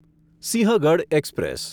Sinhagad express